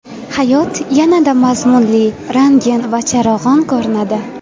Hayot yanada mazmunli, rangin va charog‘on ko‘rinadi.